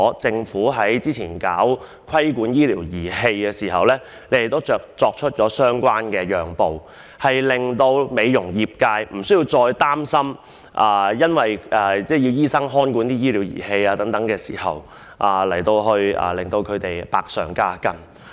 政府早前在制定規管醫療儀器的法案時，也作出相關的讓步，令美容業界不需要擔心因為只可由醫生或在醫生監督下使用醫療儀器而增加負擔。